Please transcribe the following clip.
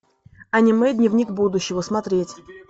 аниме дневник будущего смотреть